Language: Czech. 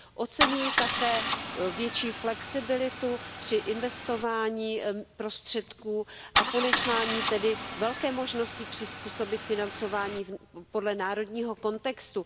Oceňuji také větší flexibilitu při investování prostředků a ponechání tedy velké možnosti přizpůsobit financování podle národního kontextu.